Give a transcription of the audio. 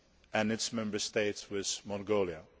and its Member States with Mongolia.